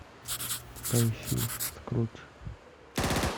поищи скрудж